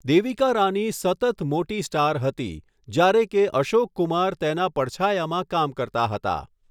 દેવિકા રાની સતત મોટી સ્ટાર હતી, જ્યારે કે અશોક કુમાર તેના પડછાયામાં કામ કરતા હતા.